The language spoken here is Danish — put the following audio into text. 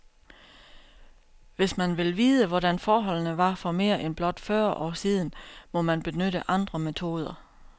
Hvis man vil vide, hvordan forholdene var for mere end blot fyrre år siden, må man benytte andre metoder.